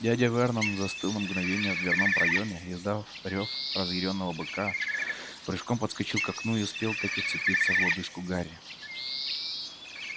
дядя вернон застыл на мгновение в дверном проёме издав рёв разъярённого быка прыжком подскочил к окну и успел-таки вцепиться в лодыжку гарри